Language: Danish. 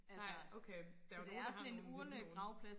nej okay der er jo nogle der har nogle vilde nogen